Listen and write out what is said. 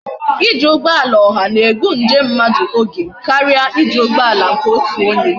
iji ugboala oha na egbu njem mmadu oge karia iji ugboala nke otu onye